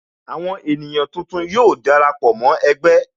Àwọn ènìyàn tuntun ó dara pọ mó ẹgbẹ́